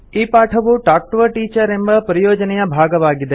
ಈ ಪಾಠವು talk to a teacher ಎಂಬ ಪರಿಯೋಜನೆಯ ಭಾಗವಾಗಿದೆ